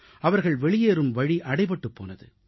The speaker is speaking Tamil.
அவர்கள் வெளியேறும் வழி அடைபட்டுப் போனது